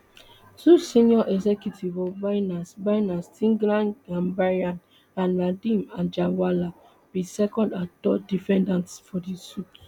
two senior executives of binance binance tigran gambaryan and nadeem anjarwalla be second and third defendants for di suit